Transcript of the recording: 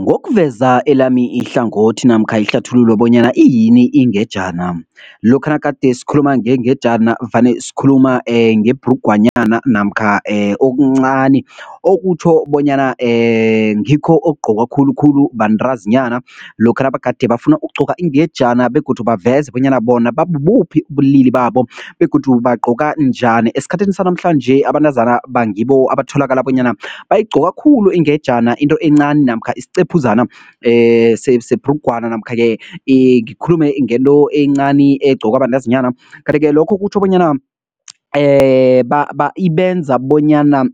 Ngokuveza elami ihlangothi namkha ihlathululo bonyana, iyini ingejana? Lokha nagade sikhuluma ngengejana vane sikhuluma ngebhrugwanyana namkha okuncani okutjho bonyana ngikho okugqokwa khulukhulu bantazinyana lokha nabagade bafuna ukugqoka ingejana begodu baveze bonyana bona babubuphi ubulili babo begodu bagqoka njani, esikhathini sanamhlanje abantazanaba ngibo abatholaka bonyana bayigqoka khulu ingejana into encani namkha isicephuzana sebhrugwana namkha-ke ngikhulume ngento encani egqokwa bantazinyana, kanti-ke lokho kutjho bonyana ibenza bonyana